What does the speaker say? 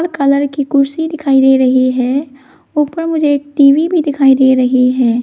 Colour की कुर्सी दिखाई दे रही है ऊपर मुझे टी_वी भी दिखाई दे रही है।